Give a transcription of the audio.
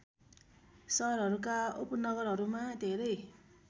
सहरहरूका उपनगरहरूमा धेरै